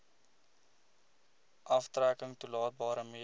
aftrekking toelaatbare mediese